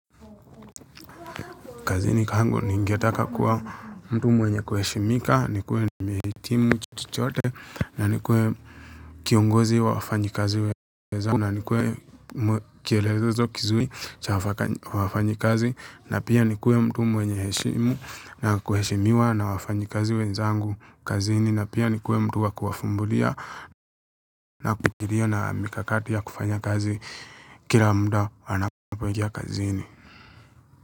Kazini kwangu ningetaka kuwa mtu mwenye kuheshimika, nikuwe nihitimu cho chore, na nikuwe kiongozi wa wafanyikazi wenzangu, na nikuwe kielelezo kizuri cha wafanyi kazi, na pia nikuwe mtu mwenye heshimu na kuheshimiwa na wafanyi kazi wenzangu kazini, na pia nikuwe mtu wakufumbulia na kupitilia na mikakati ya kufanya kazi kila muda wanapoingia kazini.